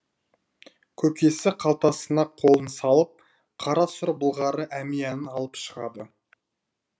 көкесі қалтасына қолын салып қара сұр былғары әмиянын алып шығады